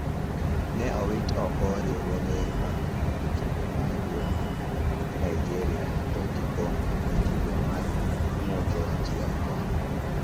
Ne owit oko riwruoge mag jotugo ma wuok Nigeria to gi Congo e tugo mar ng`udho ji oko.